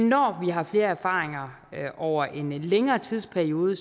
når vi har flere erfaringer over en længere tidsperiode